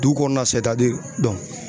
Du kɔɔna